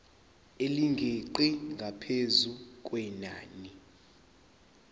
elingeqi ngaphezu kwenani